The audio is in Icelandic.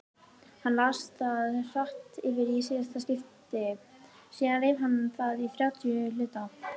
Hann las það hratt yfir í síðasta skipti, síðan reif hann það í þrjátíu hluta.